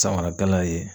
Samara gana ye